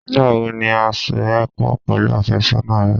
Nígbà wo ni a so ẹ pọ̀ pẹ̀lú àfẹ́sọ́nà rẹ?